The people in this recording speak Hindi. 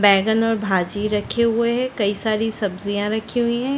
बैंगन और भाजी रखे हुए है कई सारी सब्जियां रखी हुई है।